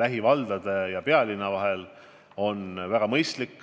lähivaldade ja pealinna vahel on väga mõistlik.